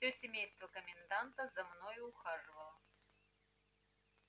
всё семейство коменданта за мною ухаживало